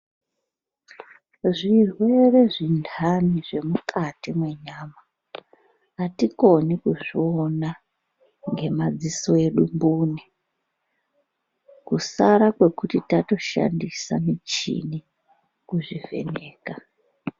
Zvirwere zvintani zvemukati mwenyama atikoni kuzviona ngemadziso edu mbune kusara kwekuti tatoshandisa michini kuzvivheneka.